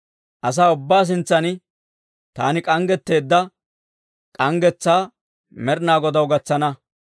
Asaa ubbaa sintsan, taani k'anggeteedda k'anggetsaa Med'inaa Godaw gatsana.